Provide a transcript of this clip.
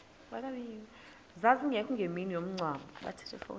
zazingekho ngemini yomngcwabo